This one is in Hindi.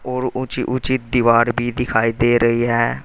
और ऊंची ऊंची दीवार भी दिखाई दे रही है।